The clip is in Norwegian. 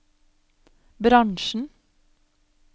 bransjen